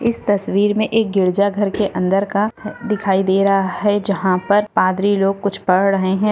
इस तस्वीर मे एक गिरिजा घर के अंदर का दिखाई दे रहा है जहां पर पाद्री लोग कुछ पड़ रहे है।